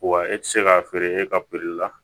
Wa e tɛ se k'a feere e ka la